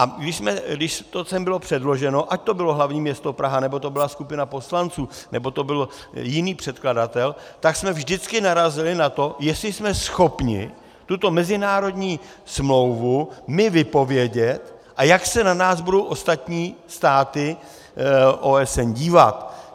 A když to sem bylo předloženo, ať to bylo hlavní město Praha, nebo to byla skupina poslanců, nebo to byl jiný předkladatel, tak jsme vždycky narazili na to, jestli jsme schopni tuto mezinárodní smlouvu my vypovědět a jak se na nás budou ostatní státy OSN dívat.